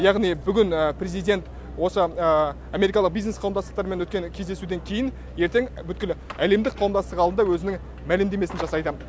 яғни бүгін президент осы америкалық бизнес қауымдастықтармен өткен кездесуден кейін ертең бүткіл әлемдік қауымдастық алдында өзінің мәлімдемесін жасайды